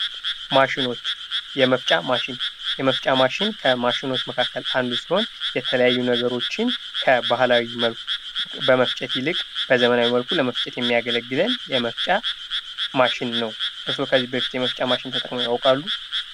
ማሽኖች የመፍጫ ማሽን የመፍጫ ማሽን ከማሽኖች መካከል አንዱ ሲሆን የተለያዩ ነገሮችን በባህላዊ መልኩ ከመፍጨት ይልቅ በዘመናዊ መንገድ ለመፍጨት የሚያገለግለን የመፍጫ ማሽን ነው። እርስዎ ከዚህ በፊት የመፍጫ ማሽን ተጠቅመው ያውቃሉ?